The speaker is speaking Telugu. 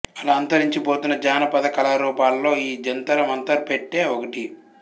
అలా అంతరించి పోతున్న జాన పధ కళా రూపాల్లో ఈ జంతర మంతర పెట్టె ఒకటి